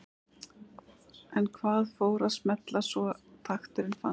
En hvað fór að smella svo takturinn fannst?